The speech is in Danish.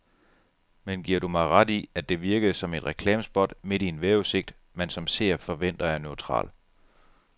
Men giver du mig ret i, at det virkede som et reklamespot midt i en vejrudsigt, man som seer forventer er neutral.